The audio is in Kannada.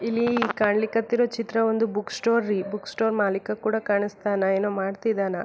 ಇಲ್ಲಿ ಕಾಣಲಿಕ್ಕೆ ಹತ್ತಿರೋ ಚಿತ್ರ ಒಂದು ಬುಕ್ ಸ್ಟೋರ್ ರೀ ಬುಕ್ ಸ್ಟೋರ್ ಮಾಲೀಕ ಕೂಡ ಕಾಣಿಸ್ತಾನ ಏನೋ ಮಾಡ್ತಿದ್ದಾನಾ.